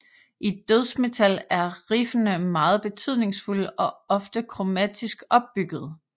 I dødsmetal er riffene meget betydningsfulde og ofte kromatisk opbyggede